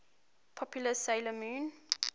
popular 'sailor moon